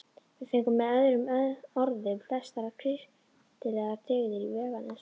Við fengum með öðrum orðum flestar kristilegar dyggðir í veganesti.